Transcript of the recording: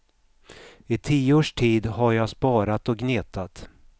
I tio års tid har jag sparat och gnetat.